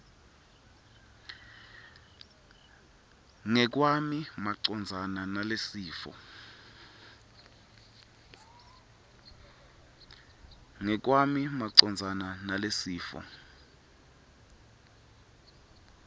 ngekwami macondzana nalesifo